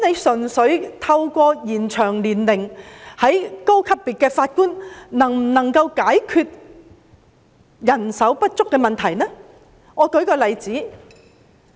純粹透過延展高級別法院法官的退休年齡，是否能夠解決人手不足的問題呢？